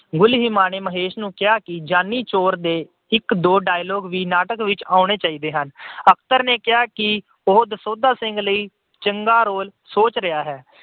ਗੁਲੀਮਾ ਨੇ ਮਹੇਸ਼ ਨੂੰ ਕਿਹਾ ਕਿ ਜਾਨੀ ਚੋਰ ਦੇ ਇੱਕ ਦੋ dialogue ਵੀ ਨਾਟਕ ਵਿੱਚ ਆਉਣੇ ਚਾਹੀਦੇ ਹਨ। ਅਖਤਰ ਨੇ ਕਿਹਾ ਕਿ ਉਹ ਦਸੌਂਧਾ ਸਿੰਘ ਲਈ ਚੰਗਾ role ਸੋਚ ਰਿਹਾ ਹੈ।